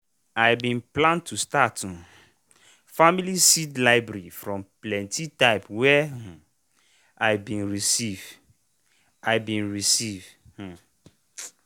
i bin plan to start family seed library from plenti type where i been receive. i been receive. um